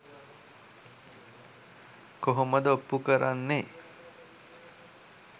කොහොමද ඔප්පුකරන්නේ